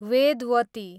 Vedvati